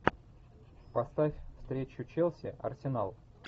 поставь встречу челси арсенал